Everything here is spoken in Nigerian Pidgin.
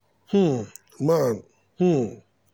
um nan um